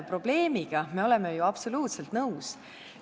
Probleemiga me oleme ju absoluutselt nõus.